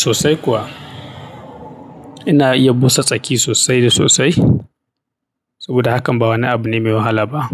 Sosai kuwa. Ina iya busa tsaki sosai da sosai saboda hakan ba wani abu ne mai wahala ba.